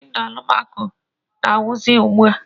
Windo alụmako na-ewizi ugbua.